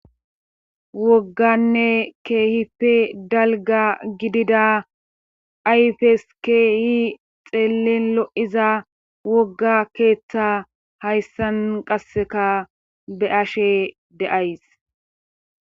wogganne keehippe dalga gidida ayfes keehi xeellin lo7iza wogga keeththa hayssan qasseka be ashe de'ays.